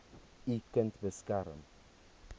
u kind beskerm